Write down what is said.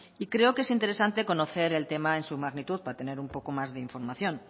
y creo que es interesante conocer el tema en su magnitud para tener un poco más de información